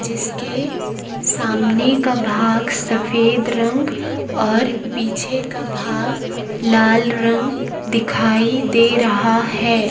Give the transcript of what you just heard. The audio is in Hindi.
जिसके सामने का भाग सफेद रंग और पीछे का भाग लाल रंग दिखाई दे रहा है।